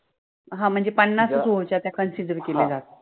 हा मनजे पन्नासच over च्या त्या consider केल्या जातात